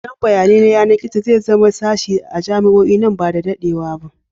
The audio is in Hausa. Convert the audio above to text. Tsaron bayanai na yanar gizo zai zama sashe a jami'o'i nan ba da daɗewa ba.